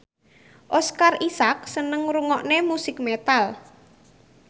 Oscar Isaac seneng ngrungokne musik metal